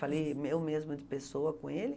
Falei me eu mesma de pessoa com ele.